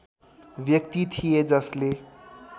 व्यक्ति थिए जसले